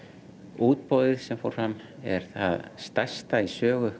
útboðið sem fór fram er það stærsta í sögu